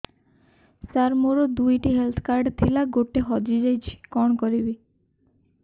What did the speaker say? ସାର ମୋର ଦୁଇ ଟି ହେଲ୍ଥ କାର୍ଡ ଥିଲା ଗୋଟେ ହଜିଯାଇଛି କଣ କରିବି